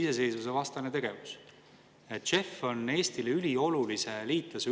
Praegu teie ees oleva eelnõu kohaselt tõuseb tubakatoodete aktsiisimäär 2025. ja 2026. aastal 10%.